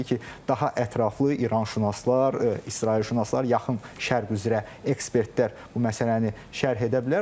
Təbii ki, daha ətraflı İranşünaslar, İsrailşünaslar, Yaxın Şərq üzrə ekspertlər bu məsələni şərh edə bilər.